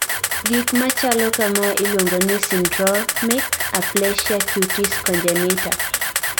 gik machalo kamae iluongo ni syndromic aplasia cutis congenita